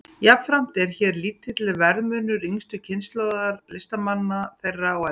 Jafnframt er hér lítill verðmunur yngstu kynslóðar listamanna og þeirrar eldri.